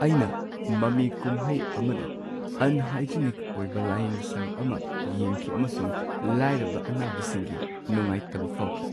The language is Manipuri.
ꯑꯩꯅ ꯃꯃꯤ ꯀꯨꯝꯍꯩ ꯑꯃꯗ ꯑꯟꯍꯥꯢꯖꯅꯤꯛ ꯑꯣꯢꯕ ꯂꯥꯢꯌꯦꯡꯁꯪ ꯑꯃ ꯌꯦꯡꯈꯤ ꯑꯃꯁꯨꯡ ꯂꯥꯏꯔꯕ ꯑꯅꯥꯕꯁꯤꯡꯒꯤ ꯅꯨꯡꯉꯥꯢꯇꯕ ꯐꯥꯎꯈꯤ꯫